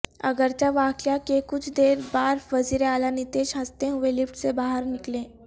اگرچہ واقعہ کے کچھ دیر بار وزیر اعلی نتیش ہنستے ہوئے لفٹ سے باہر نکلے